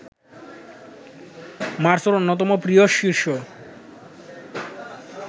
মার্সোর অন্যতম প্রিয় শিষ্য